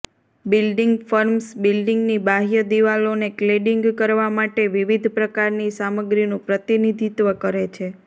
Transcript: building firms બિલ્ડિંગની બાહ્ય દિવાલોને ક્લેડીંગ કરવા માટે વિવિધ પ્રકારની સામગ્રીનું પ્રતિનિધિત્વ કરે છે